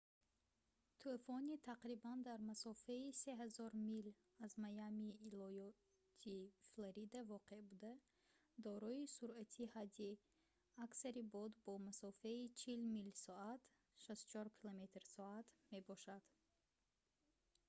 тӯфони тақрибан дар масофаи 3000 мил аз майамии иолоти флорида воқеъ буда дорои суръати ҳадди аксари бод бо масофаи 40 мил/соат 64 км / соат мебошад